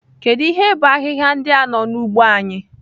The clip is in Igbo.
Kedu ihe bụ ahịhịa ndị a n'ugbo anyị?